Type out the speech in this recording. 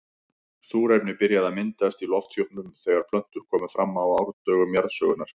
Súrefni byrjaði að myndast í lofthjúpnum þegar plöntur komu fram á árdögum jarðsögunnar.